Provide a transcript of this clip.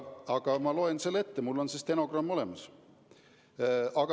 Aga ma loen ette, mul on see stenogramm olemas.